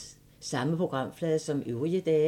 Samme programflade som øvrige dage